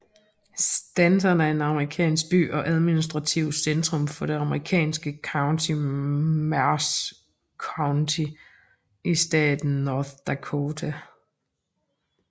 Stanton er en amerikansk by og administrativt centrum for det amerikanske county Mercer County i staten North Dakota